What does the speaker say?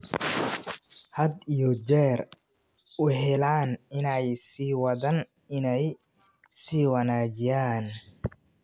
had iyo jeer u heellan inay sii wadaan inay sii wanaajiyaan.